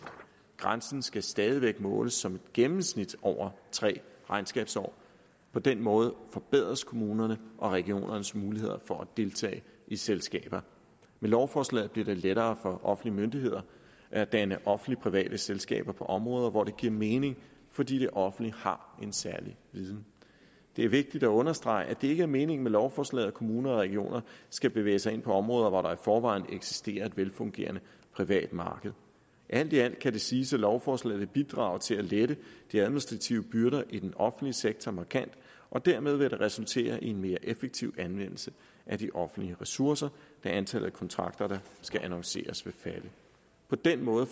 grænsen skal stadig væk måles som et gennemsnit over tre regnskabsår på den måde forbedres kommunernes og regionernes muligheder for at deltage i selskaber med lovforslaget bliver det lettere for offentlige myndigheder at danne offentligt private selskaber på områder hvor det giver mening fordi det offentlige har en særlig viden det er vigtigt at understrege at det ikke er meningen med lovforslaget at kommuner og regioner skal bevæge sig ind på områder hvor der i forvejen eksisterer et velfungerende privat marked alt i alt kan det siges at lovforslaget bidrager til at lette de administrative byrder i den offentlige sektor markant og dermed vil det resultere i en mere effektiv anvendelse af de offentlige ressourcer da antallet af kontrakter der skal annonceres vil falde på den måde